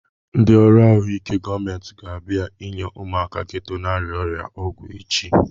Ndị ọrụ ahụike gọọmenti ga-abịa enye ụmụaka geto na-arịa ọrịa ọgwụ echi